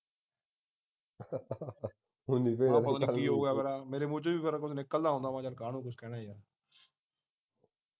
ਮੈਂ ਪਤਾ ਨੀ ਕੀ ਹੋ ਗਿਆ ਮੇਰਾ ਮੇਰੇ ਮੂੰਹ ਵਿਚੋਂ ਵੀ ਫਿਰ ਨਿਕਲ ਨਾ ਆਉਂਦਾ ਮੈਂ ਯਾਰ ਕਾਹਨੂੰ ਕੁਛ ਕਹਿਣਾ ਯਾਰ